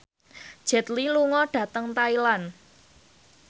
Jet Li lunga dhateng Thailand